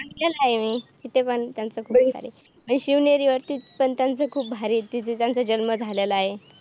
बघितलेला आहे मी तिथे पण त्यांच्या शिवनेरीवरती पण त्यांचे खूप भारी आहे. तिथे त्यांचा जन्म झालेला आहे.